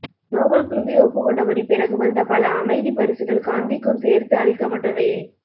நோபல்குழுவே ஒப்புக் கொண்டபடி பிறகு வந்த பல அமைதிப் பரிசுகள் காந்திக்கும் சேர்த்து அளிக்கப் பட்டவையே